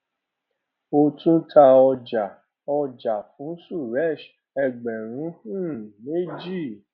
ó tún ta ọjà ọjà fún suresh ẹgbẹrún um méjì